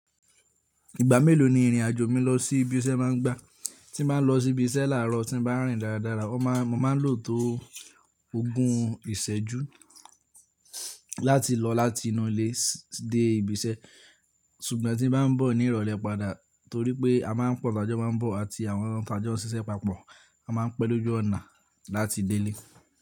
Ìgbà mélòó ni ìrìn àjò mi lọ sí ibi iṣẹ́ máa ń gba? Tí mo bá lọ sí ibi iṣẹ́ láàárọ̀ tí mo bá rìn dáradára mo máa lò tó ogún ìṣẹ́jú láti lọ láti inú ilé de ibi iṣẹ́. Ṣùgbọ́n tí m bá ń bọ̀ nírọ̀lẹ́ padà torí pé a máa ń pọ̀ t'ajọ máa ń bọ̀ àti àwọn t'àjọ́ ń ṣiṣẹ́ papọ̀, a máa ń pẹ́ lójú ọ̀nà láti dé ilé.